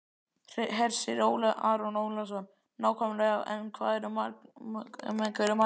Hersir Aron Ólafsson: Nákvæmlega en með hverju mælirðu?